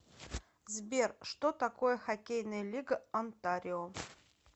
сбер что такое хоккейная лига онтарио